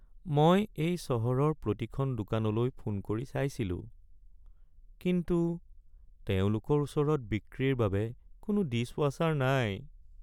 মই এই চহৰৰ প্ৰতিখন দোকানলৈ ফোন কৰি চাইছিলোঁ, কিন্তু তেওঁলোকৰ ওচৰত বিক্ৰীৰ বাবে কোনো ডিছৱাশ্বাৰ নাই।